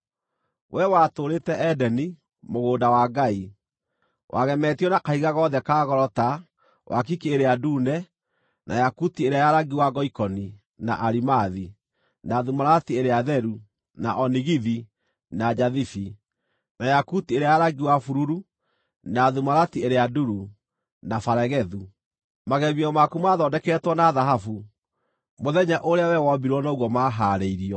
Wee watũũrĩte Edeni, mũgũnda wa Ngai; wagemetio na kahiga gothe ka goro ta: wakiki ĩrĩa ndune, na yakuti ĩrĩa ya rangi wa ngoikoni, na arimathi, na thumarati ĩrĩa theru, na onigithi, na njathibi, na yakuti ĩrĩa ya rangi wa bururu, na thumarati ĩrĩa nduru, na baregethu. Magemio maku maathondeketwo na thahabu; mũthenya ũrĩa wee wombirwo noguo maahaarĩirio.